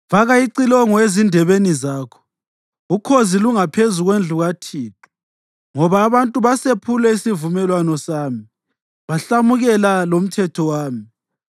“Faka icilongo ezindebeni zakho! Ukhozi lungaphezu kwendlu kaThixo ngoba abantu basephule isivumelwano sami bahlamukela lomthetho wami.